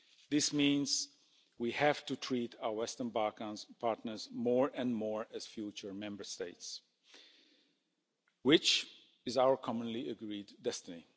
This means we have to treat our Western Balkans partners more and more as future Member States, which is our commonly agreed destiny.